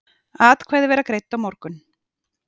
Atkvæði verða greidd á morgun.